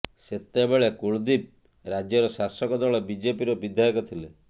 ସେତେବେଳେ କୁଲଦୀପ ରାଜ୍ୟର ଶାସକ ଦଳ ବିଜେପିର ବିଧାୟକ ଥିଲେ